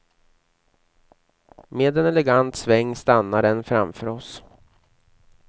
Med en elegant sväng stannar den framför oss.